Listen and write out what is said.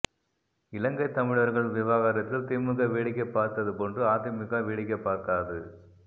இலங்கை தமிழர்கள் விவகாரத்தில் திமுக வேடிக்கை பார்த்தது போன்று அதிமுக வேடிக்கை பார்க்காது